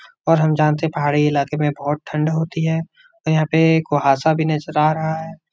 और हम जानते हैं पहाड़ी इलाके में बहोत ठंड होती है और यहाँ पे कोहा सा भी नजर आ रहा है।